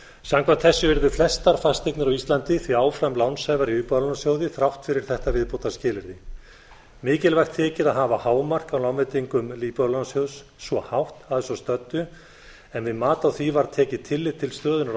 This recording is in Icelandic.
samkvæmt framangreindu eru flestar fasteignir á íslandi því áfram lánshæfar hjá íbúðalánasjóði þrátt fyrir þetta viðbótarskilyrði mikilvægt þykir að hafa hámark á lánveitingum íbúðalánasjóðs svo hátt að svo stöddu en við mat á því var tekið tillit til stöðunnar á